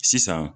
Sisan